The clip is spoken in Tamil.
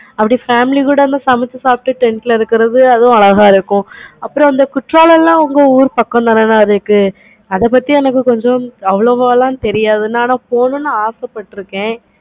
அப்படி family கூட சமைச்சி சாப்பிட்டு tent ல இருக்குறது அதுவும் அழகா இருக்கும். அப்பறம் அந்த கோட்டாலம் தன உன்ன ஊரு பக்கம் தன இருக்கு. அத பத்தி கொஞ்சம் போல தெரியாது அப்பறமும் ஆசை பாத்துருக்கேன்.